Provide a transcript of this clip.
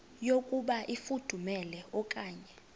yokuba ifudumele okanye